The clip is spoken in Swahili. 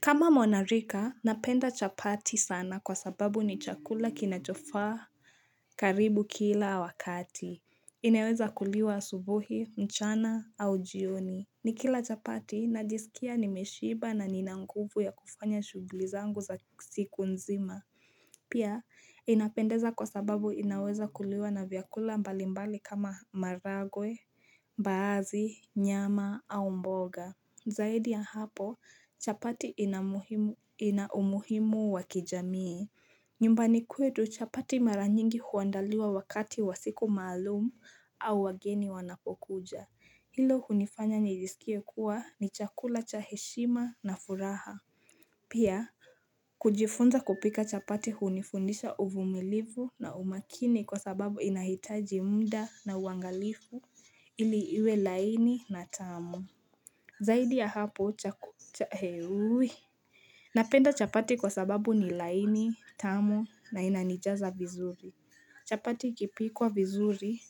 Kama mwanarika napenda chapati sana kwa sababu ni chakula kinachofaa karibu kila wakati. Inaweza kuliwa asubuhi mchana au jioni. Nikila chapati najisikia nimeshiba na ninanguvu ya kufanya shughuli zangu za siku nzima. Pia inapendeza kwa sababu inaweza kuliwa na vyakula mbalimbali kama maharagwe, mbaazi, nyama au mboga. Zaidi ya hapo, chapati ina umuhimu wa kijamii. Nyumbani kwetu chapati maranyingi huandaliwa wakati wa siku maalum au wageni wanapokuja. Hilo hunifanya nijisikie kuwa ni chakula cha heshima na furaha. Pia, kujifunza kupika chapati hunifundisha uvumilivu na umakini kwa sababu inahitaji muda na uangalifu ili iwe laini na tamu. Zaidi ya hapo chaku cha heuwii. Napenda chapati kwa sababu ni laini, tamu na inanijaza vizuri. Chapati ikipikwa vizuri